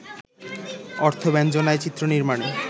অর্থব্যঞ্জনায়, চিত্রনির্মাণে